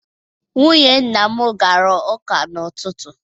Nwunye nna m gara ụka n'ụtụtụ.